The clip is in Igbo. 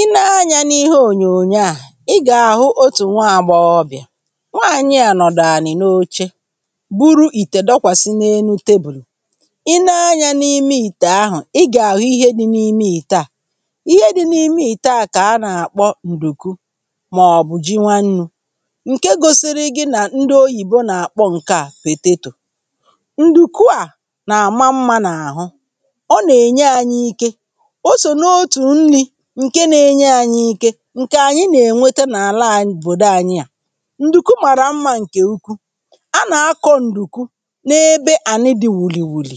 Ị nee anyȧ n’ihe ònyònyo à. Ị gà-àhụ otù nwa-àgbọghọbị̀à, nwaànyị à nọ̀dà ànị̀ n’oche buru ìtè dọkwàsị n’enu tebùlù. Ị nee anyȧ n’ime ìtè ahụ, i gà-àhụ ihe dị n’ime ìte à, ihe dị n’ime ìte à kà a nà-àkpọ ǹdùku màọbụ̀ ji nwannu̇ ǹke gosiri gi nà ndị oyìbo nà-àkpọ ǹke à potato, ǹdùku à nà-àma mmȧ n’àhụ, ọ nà-ènye anyị ike, o so n'otu nri ǹke na-enye ȧnyị̇ ike ǹkè ànyị nà-ènweta n’àla (au)obodo ànyị a. Ndùku màrà mmȧ ǹkè ụkwụ, a nà-akọ ǹdùku n’ebe ànị dị̇ wuli wuli,